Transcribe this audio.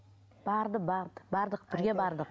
барды барды бардық бірге бардық